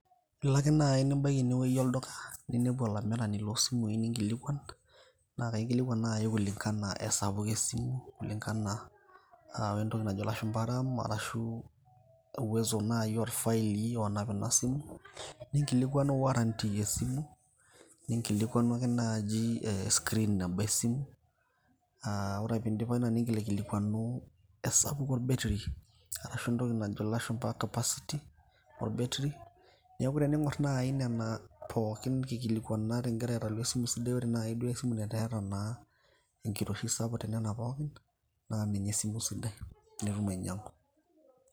Ilo ake naai nibaiki enewueji olduka ninepu olamirani loosimui ninkilikuan, naa kaikilikuan ake naai kulingani o espuko esimu, kulingani o entoki najo ilashumba RAM arshu uwezo naai orfaili oonap ina simu o warranty esimu ninkilikuani ake naai e screen naata esimu aa ore ake piindip ina ninkilikuanu capacity orbeterri. Neeku teniing'orr nai nena pookin kikilikuanata naa ninye esimu sidai nitum ainyiang'u.